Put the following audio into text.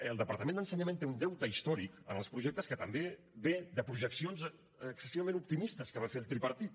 el departament d’ensenyament té un deute històric en els projectes que també ve de projeccions excessivament optimistes que va fer el tripartit